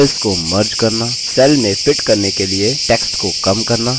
cells को merge करना cells में fit करने के लिए text को कम करना